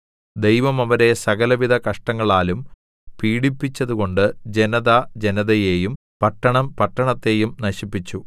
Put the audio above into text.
ദൈവം അവരെ സകലവിധ കഷ്ടങ്ങളാലും പീഡിപ്പിച്ചതുകൊണ്ട് ജനത ജനതയേയും പട്ടണം പട്ടണത്തെയും നശിപ്പിച്ചു